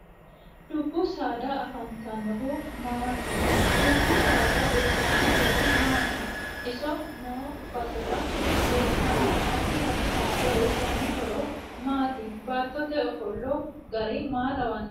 Dubbu saada afantanohu maati dubbu saad uyiitanno horo maati iso noo basera leeltaano addi addi haqqe uyiitanno horo maati baatote ofolla gari maa lawanno